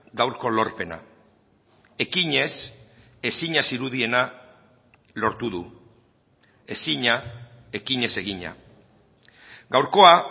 gaurko lorpena ekinez ezina zirudiena lortu du ezina ekinez egina gaurkoa